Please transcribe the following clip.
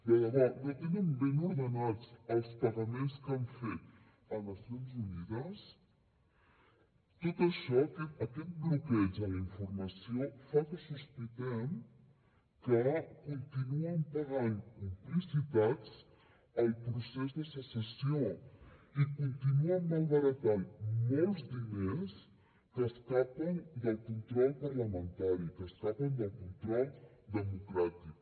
de debò no tenen ben ordenats els pagaments que han fet a nacions unides tot això aquest bloqueig a la informació fa que sospitem que continuen pagant complicitats al procés de secessió i continuen malbaratant molts diners que escapen del control parlamentari que escapen del control democràtic